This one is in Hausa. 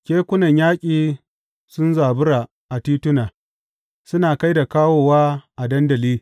Kekunan yaƙi sun zabura a tituna, suna kai da kawowa a dandali.